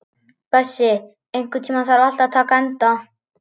Bessi, einhvern tímann þarf allt að taka enda.